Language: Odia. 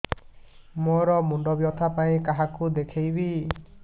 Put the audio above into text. ମୋର ମୁଣ୍ଡ ବ୍ୟଥା ପାଇଁ କାହାକୁ ଦେଖେଇବି